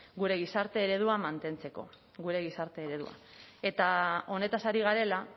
gure gizarte eredua mantentzeko gure gizarte eredua eta honetaz ari garela